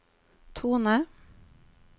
tone